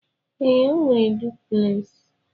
Ee, o nwere dupleksi.